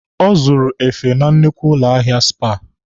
Ọ zụrụ efe na nnukwu ụlọ ahịa Spar.